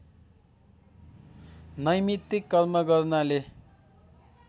नैमित्तिक कर्म गर्नाले